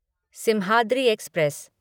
Simhadri express